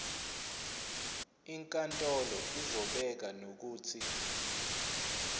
inkantolo izobeka nokuthi